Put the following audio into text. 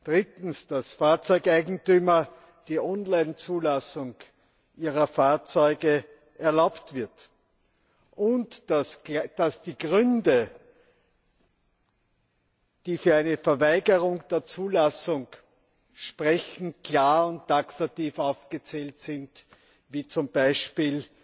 Drittens, dass Fahrzeugeigentümern die Online Zulassung ihrer Fahrzeuge erlaubt wird und dass die Gründe, die für eine Verweigerung der Zulassung sprechen, klar und taxativ aufgezählt sind, wie zum Beispiel